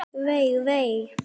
Vei, vei.